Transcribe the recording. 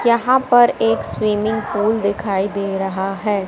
यहां पर एक स्विमिंग पूल दिखाई दे रहा है।